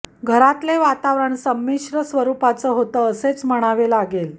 घरातले वातावरण संमिश्र स्वरुपाचं होतं असेच म्हणावं लागेल